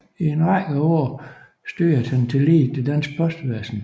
I en række af år styrede han tillige det danske postvæsen